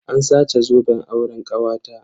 An sace zoben auren kawata.